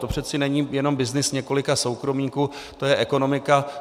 To přece není jen byznys několika soukromníků, to je ekonomika.